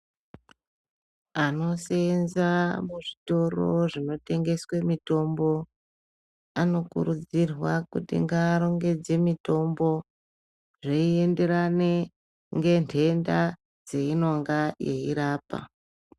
Anosenza muzvitoro zvinotengeswe mitombo. Anokurudzirwa kuti ngarongedze mitombo zveienderane ngenhenda dzeinonga eirapa.